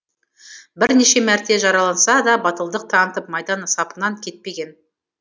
бірнеше мәрте жараланса да батылдық танытып майдан сапынан кетпеген